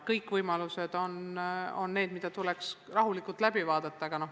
Kõik võimalused tuleks rahulikult läbi arutada.